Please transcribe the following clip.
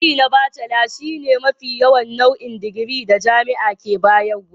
Digiri na Bacela shine mafi yawan nau'in digiri da jami'a ke bayarwa.